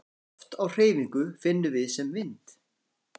Loft á hreyfingu finnum við sem vind.